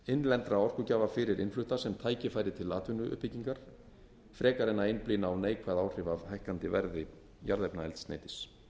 innlenda sem tækifæri til atvinnuuppbyggingar frekar en að einblína á neikvæð áhrif af hækkandi verði jarðefnaeldsneytis